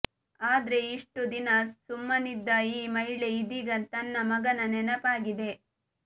ಆದ್ರೆ ಇಷ್ಟು ದಿನ ಸುಮ್ಮನಿದ್ದ ಈ ಮಹಿಳೆ ಇದೀಗ ತನ್ನ ಮಗನ ನೆನಪಾಗಿದೆ